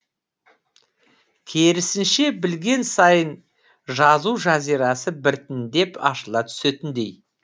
керісінше білген сайын жазу жазирасы біртіндеп ашыла түсетіндей